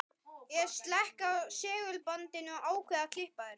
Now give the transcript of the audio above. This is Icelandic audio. Ég slekk á segulbandinu og ákveð að klippa þær.